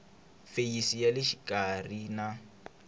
feyisi ya le xikarhi na